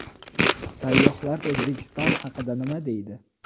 Sayyohlar O‘zbekiston haqida nima deydi?.